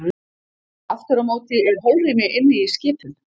Aftur á móti er holrými inni í skipum.